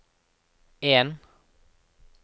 en